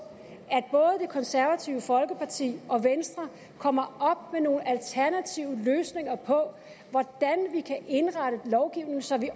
at konservative folkeparti og venstre kommer op med nogle alternative løsninger på hvordan vi kan indrette lovgivningen så vi